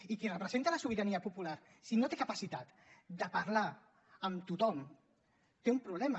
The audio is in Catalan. i qui representa la sobirania popular si no té capacitat de parlar amb tothom té un problema